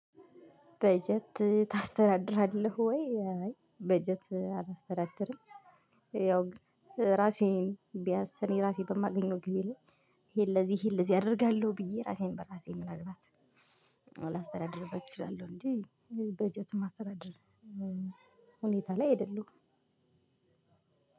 በጀት ታስተዳድራለህ ወይ? በጀት አላስተዳድርም ያው እራሴን ቢያስ እኔ እራሴ በማገኘው ገቢ ላይ ይሄን ለዚህ ይሄን ለዚህ አደርጋለሁ ብዬ እራሴን በራሴ ምናልባት ላስተዳድርበት እችላለሁ እንጂ በጀት የማስተዳደር ሁኔታ ላይ አይደለሁም።